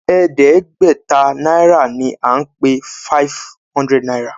e de gbé ta naira ní a pé five hundred náírà.